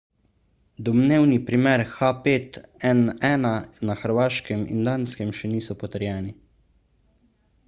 domnevni primeri h5n1 na hrvaškem in danskem še niso potrjeni